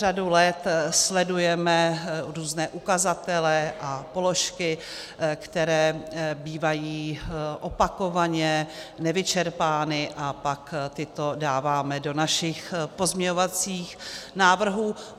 Řadu let sledujeme různé ukazatele a položky, které bývají opakovaně nevyčerpány, a pak tyto dáváme do našich pozměňovacích návrhů.